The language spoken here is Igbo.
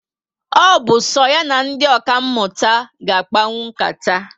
O bu so ya na ndị ọka mụta ga akpanwu nkata